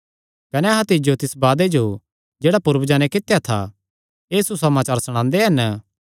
कने अहां तिज्जो तिस वादे जो जेह्ड़ा पूर्वजां नैं कित्या था एह़ सुसमाचार सणांदे हन